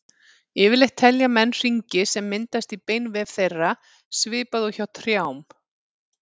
Yfirleitt telja menn hringi sem myndast í beinvef þeirra, svipað og hjá trjám.